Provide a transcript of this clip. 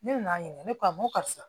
Ne nan'a ɲininka ne ko a n ko karisa